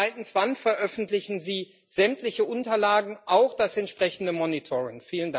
Und zweitens Wann veröffentlichen Sie sämtliche Unterlagen, auch das entsprechende Monitoring?